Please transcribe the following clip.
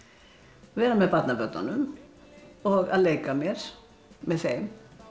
vera með barnabörnunum og að leika mér með þeim